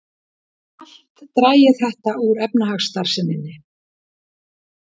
Allt dragi þetta úr efnahagsstarfseminni